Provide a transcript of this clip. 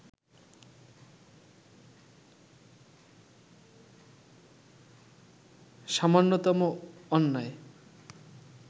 সামান্যতম অন্যায়